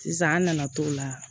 Sisan an nana t'o la